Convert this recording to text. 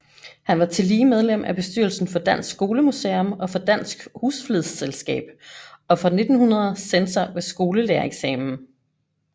Han var tillige medlem af bestyrelsen for Dansk Skolemuseum og for Dansk Husflidsselskab og fra 1900 censor ved skolelærereksamen